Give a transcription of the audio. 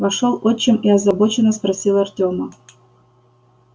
вошёл отчим и озабоченно спросил артема